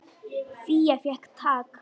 Fía fékk tak.